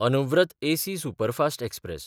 Anuvrat AC superfast express